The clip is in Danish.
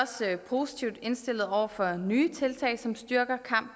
for